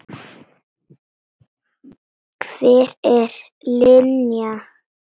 Hver er Linja?